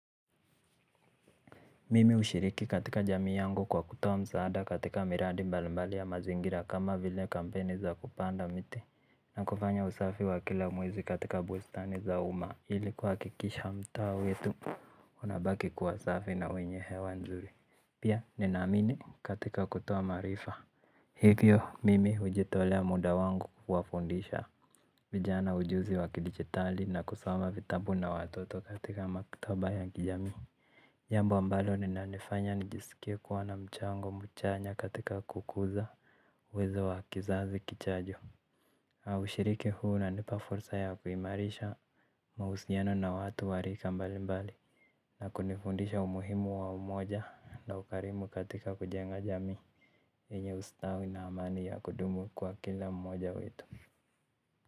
Mimi hushiriki katika jamii yangu kwa kutoa msaada katika miradi mbali mbali ya mazingira kama vile kampeni za kupanda mite na kufanya usafi wa kila mwezi katika bustani za uma ili kuhakikisha mtaa wetu unabaki kuwa safi na wenye hewa nzuri. Pia nina amini katika kutoa maarifa. Hivyo mimi hujitolea muda wangu kuwafundisha vijana ujuzi wa kidijitali na kusoma vitabu na watoto katika maktaba ya kijamii. Jambu ambalo ninalifanya nijiskie kuwa na mchango mchanya katika kukuza uwezo wa kizazi kichajo au shiriki huu unanipa fursa ya kuimarisha mahusiano na watu wa rika mbali mbali na kunifundisha umuhimu wa umoja na ukarimu katika kujenga jamii enye ustawi na amani ya kudumu kwa kila mmoja wetu.